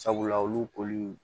Sabula olu koli